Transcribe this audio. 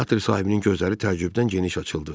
Teatr sahibinin gözləri təəccübdən geniş açıldı.